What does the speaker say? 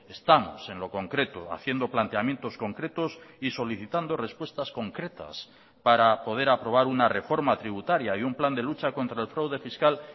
estamos en lo concreto haciendo planteamientos concretos y solicitando respuestas concretas para poder aprobar una reforma tributaria y un plan de lucha contra el fraude fiscal